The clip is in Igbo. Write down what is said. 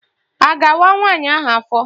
A ga-awa nwaanyị ahụ afọ?